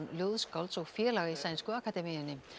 ljóðskálds og félaga í sænsku akademíunni